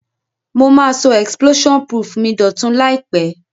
Mo ma so explosion proof mi dòtun làìpé